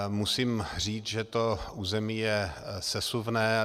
Musím říct, že to území je sesuvné.